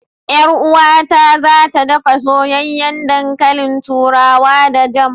Yar uwata za ta ɗafa soyayyen ɗankalin turawa da jam.